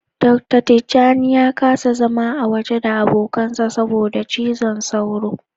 Dr.Tijjani ya kasa zama a waje da abokansa saboda cizon sauro.